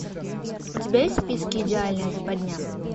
у тебя есть в списке идеальная западня